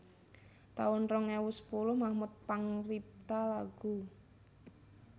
taun rong ewu sepuluh Mahmud pangripta lagu